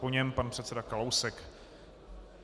Po něm pan předseda Kalousek.